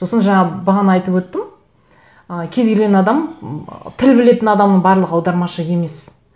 сосын жаңағы бағана айтып өттім ы кез келген адам м тіл білетін адамның барлығы аудармашы емес